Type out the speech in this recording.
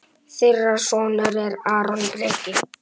Þeirra sonur er Aron Breki.